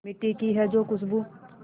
मिट्टी की है जो खुशबू